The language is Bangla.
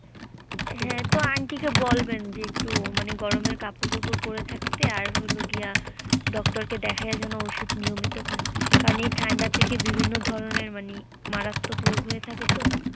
হ্যাঁ তো aunty কে বলবেন যে একটু গরম কাপড় চোপড় পরে থাকতে আর হলো গিয়া doctor কে দেখায় যেন ওষুধ নিয়মত খায় কারন এই ঠাণ্ডা থেকে বিভিন্ন ধরনের মানে মারাত্মক রোগ হয়ে থাকে তো।